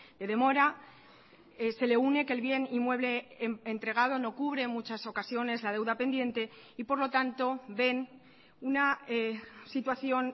de demora se le une que el bien inmueble entregado no cubre en muchas ocasiones la deuda pendiente y por lo tanto ven una situación